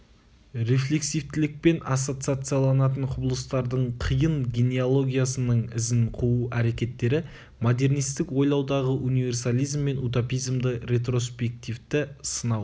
рефлексивтілікпен ассоциациаланатын құбылыстардың қиын генеологиясының ізін қуу әрекеттері модернистік ойлаудағы универсализм мен утопизмді ретроспективті сынау